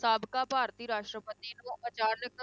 ਸਾਬਕਾ ਭਾਰਤੀ ਰਾਸ਼ਟਰਪਤੀ ਨੂੰ ਅਚਾਨਕ,